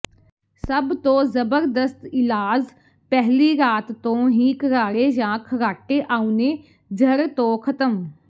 ਸਭ ਤੋਂ ਜ਼ਬਰਦਸਤ ਇਲਾਜ਼ ਪਹਿਲੀ ਰਾਤ ਤੋਂ ਹੀ ਘਰਾੜੇ ਜਾਂ ਖਾਰਾਟੇ ਆਉਣੇ ਜੜ੍ਹ ਤੋਂ ਖਤਮ